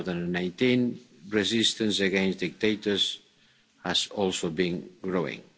2019. Resistance against dictators has also been growing.